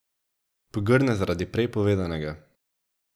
Pogrne zaradi prej povedanega.